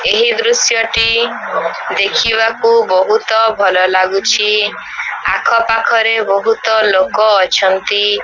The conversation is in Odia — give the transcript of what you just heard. ଏହି ଦୃଶ୍ୟ ଟି ଦେଖିବାକୁ ବୋହୁତ ଭଲ ଲାଗୁଛି ଆଖ ପାଖରେ ବୋହୁତ ଲୋକ ଅଛନ୍ତି।